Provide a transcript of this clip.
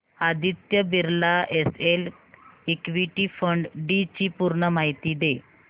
Aditya Birla SL equity fund D ची पूर्ण माहिती दे